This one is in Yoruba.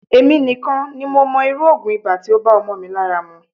Emi nikan ni mo mo iru ogun iba ti o ba omo mi lara mu.